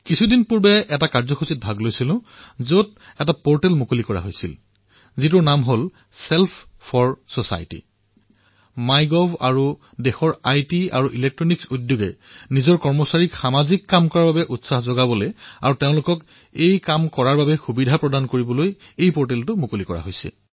কেইদিনমান পূৰ্বে মই এক অনুষ্ঠানলৈ গৈ এক পৰ্টেল মুকলি কৰিছিলো যাৰ নাম হল ছেল্ফ 4 চচাইটি মাই গভ আৰু দেশৰ তথ্য প্ৰযুক্তি তথা বৈদ্যুতিক বিভাগে নিজৰ কৰ্মচাৰীসকলক সামাজিক কৰ্মৰ বাবে উৎসাহিত কৰিবলৈ তথা তেওঁলোকক এই সুবিধা প্ৰদান কৰিবলৈ এই পৰ্টেল মুকলি কৰিছে